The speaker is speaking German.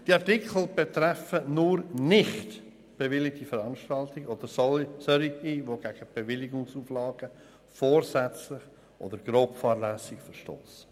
Die Artikel betreffen nur nicht bewilligte Veranstaltungen oder solche, deren Teilnehmende vorsätzlich oder grobfahrlässig gegen Bewilligungsauflagen verstossen.